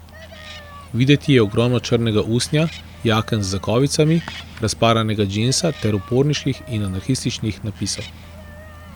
Videti je ogromno črnega usnja, jaken z zakovicami, razparanega džinsa ter uporniških in anarhističnih napisov.